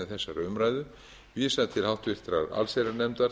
þessari umræðu vísað til allsherjarnefndar